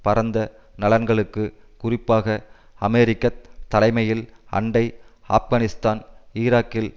பரந்த நலன்களுக்கு குறிப்பாக அமெரிக்க தலைமையில் அண்டை ஆப்கானிஸ்தான் ஈராக்கில்